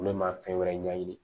Olu ma fɛn wɛrɛ ɲɛɲini